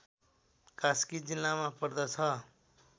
कास्की जिल्लामा पर्दछ